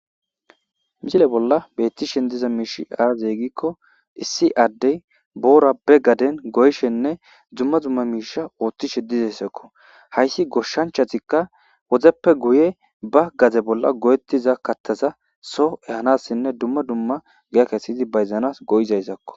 Misile bolla betishe diza mishi aze giko issi adey boora be garden goyishenne duma duma misha oothishe dizaysako haysi goshanchatika wodeppe guye ba gade bolla goyetishe diza kathaza so ehanasinne duma duma giya kesidi bayzanas go'izay izako.